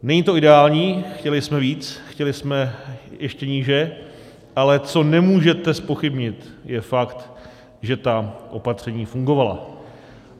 Není to ideální, chtěli jsme víc, chtěli jsme ještě níže, ale co nemůžete zpochybnit, je fakt, že ta opatření fungovala.